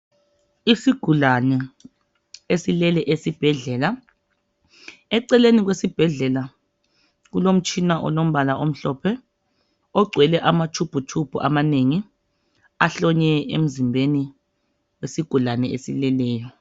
isigulane esilele esibhedlela eceleni kwesibhedlela kulomtshina olombala omhlophe ogcwele amatshubhu tshubhu amanengi ahlonywe emzimbeni wesigulane esileleyo.